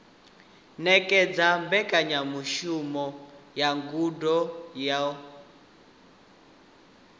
ṅetshedza mbekanyamushumo ya ngudo yo